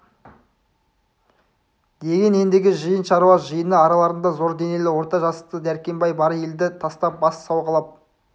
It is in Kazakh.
деген ендігі жиын шаруа жиыны араларында зор денелі орта жасты дәркембай бар елді тастап бас сауғалап